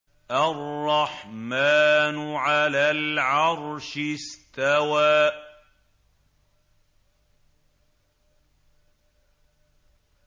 الرَّحْمَٰنُ عَلَى الْعَرْشِ اسْتَوَىٰ